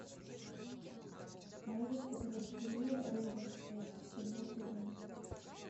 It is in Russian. можешь показать кино рейвенсвуд седьмой сезон